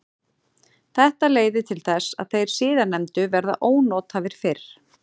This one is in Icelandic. Þetta leiðir til þess að þeir síðarnefndu verða ónothæfir fyrr.